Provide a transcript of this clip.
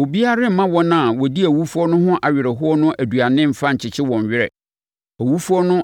Obiara remma wɔn a wɔdi awufoɔ no ho awerɛhoɔ no aduane mfa nkyekye wɔn werɛ, owufoɔ no